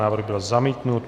Návrh byl zamítnut.